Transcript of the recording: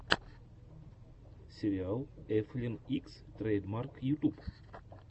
сериал эфлин икс трэйдмарк ютюб